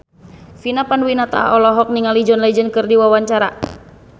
Vina Panduwinata olohok ningali John Legend keur diwawancara